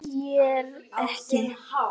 Viljir ekki.